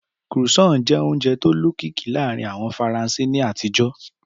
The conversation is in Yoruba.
Croissant jẹ́ oúnjẹ tó lókìkí láàárín àwọn Faransé ní àtijó.